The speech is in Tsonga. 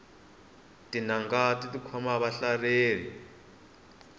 tingana ti khoma vahlaleri